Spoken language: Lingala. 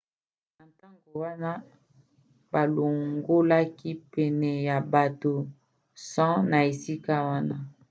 na ntango wana balongolaki pene ya bato 100 na esika wana